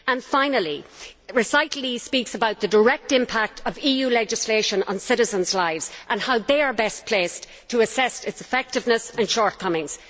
Finally, recital E speaks about the direct impact of EU legislation on citizens' lives and how citizens are best placed to assess its effectiveness and shortcomings.